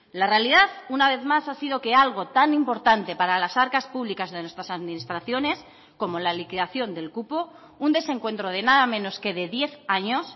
la realidad una vez más ha sido que algo tan importante para las arcas públicas de nuestras administraciones como la liquidación del cupo un desencuentro de nada menos que de diez años